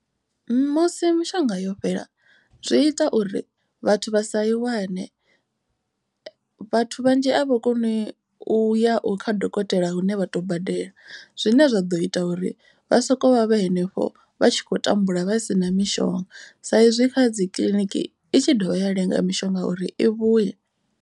Musi mishonga yo fhela zwi ita uri vhathu vha sa i wane. Vhathu vhanzhi a vha koni u ya u kha dokotela hune vha to badela. Zwine zwa ḓo ita uri vha soko vha henefho vha tshi khou tambula vha sina mishonga. Sa izwi kha dzi kiḽiniki i tshi dovha ya lenga mishonga uri i vhuye.